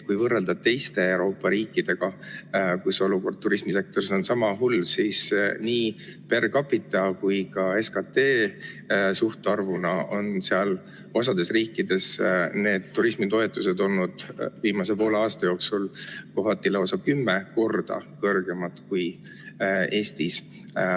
Kui võrrelda Eestit teiste Euroopa riikidega, kus turismisektori olukord on sama hull, siis nii per capita kui ka SKT suhtarvuna on osas riikides turismitoetused olnud viimase poole aasta jooksul kohati lausa kümme korda suuremad kui Eestis.